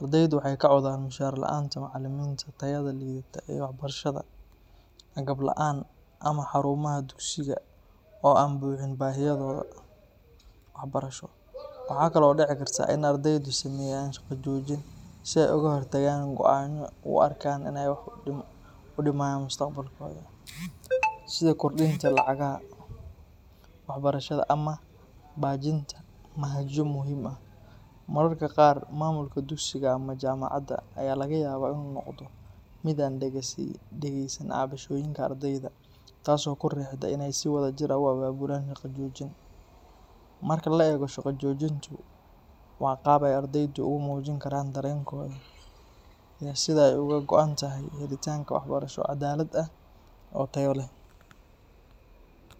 ardaydu waxay ka cawdaan mushaar la’aanta macalimiinta, tayada liidata ee waxbarashada, agab la’aan ama xarumaha dugsiga oo aan buuxin baahiyahooda waxbarasho. Waxaa kale oo dhici karta in ardaydu sameeyaan shaqo joojin si ay uga hor tagaan go’aano ay u arkaan inay wax u dhimayaan mustaqbalkooda, sida kordhinta lacagaha waxbarashada ama baajinta manhajyo muhiim ah. Mararka qaar, maamulka dugsiga ama jaamacadda ayaa laga yaabaa inuu noqdo mid aan dhegeysan cabashooyinka ardayda, taas oo ku riixda inay si wadajir ah u abaabulaan shaqo joojin. Marka la eego, shaqo joojintu waa qaab ay ardaydu ugu muujin karaan dareenkooda iyo sida ay uga go’an tahay helitaanka waxbarasho cadaalad ah oo tayo leh.